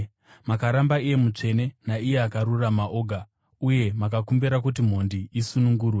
Makaramba iye Mutsvene naiye Akarurama Oga uye mukakumbira kuti mhondi isunungurwe.